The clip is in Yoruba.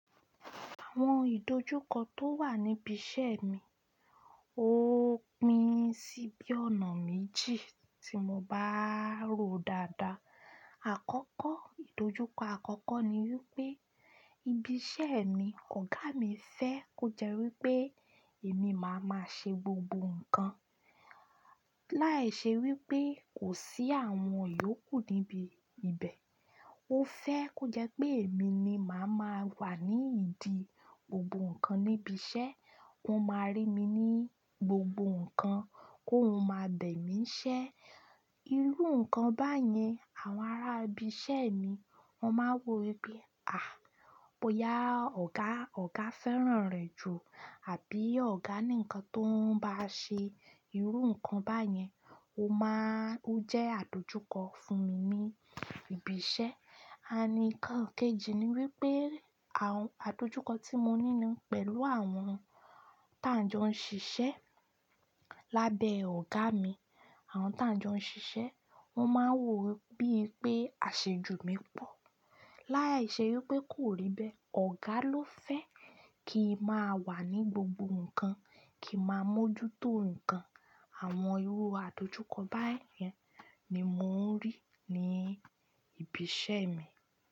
Àwọn ìdojúkọ tó wà níbi iṣẹ́ mi, ó pín sí bí ọ̀nà méjì tí mo bá ròó dáadáa. Àkọ́kọ́, ìdojúkọ àkọ́kọ́ ni wípé ibi iṣẹ́ mi, ọ̀gá mi fẹ́ kó jẹ́ wípé èmi máa máa ṣe gbogbo nǹkan. Láì ṣe wípé kò sí àwọn yòókù níbi ibẹ̀. Ó fẹ́ kó jẹ́ pé èmi ni màá máa wà ní ìdí gbogbo nǹkan níbi iṣẹ́. Ko máa rí mi ní bi gbogbo nǹkan kóun máa bẹ̀ mí n ṣẹ. Irú nǹkan báyẹn àwọn ará ibi iṣẹ́ mi won máa wò wípé, "à! Boya ọ̀gá, ọ̀gá fẹ́ràn rẹ̀ jù, àbí ọ̀gá nìkan tó ń bá ṣe irú nǹkan báyẹn." Ó máa-- ó jẹ́ àdojúkọ fún mi ní ibi iṣẹ́. Ànd nkan kejì ni wípé àwọn àdojúkọ tí mo ní ni pẹ̀lú àwọn táǹjọ nṣiṣẹ́ lábẹ́ ọ̀gá mi, àwọn táǹjọ nṣiṣẹ́ wọ́n máa wò ó bíi pé àṣejù mi pọ̀. Lái ṣe wípé kò rí bẹ́ẹ̀. Ọ̀gá ló fẹ́ kí n máa wà ní gbogbo nǹkan, kí n máa mójútó nǹkan. Àwọn irú àdojúkọ báyẹn ni mò ń rí ní ibi iṣẹ́ mi.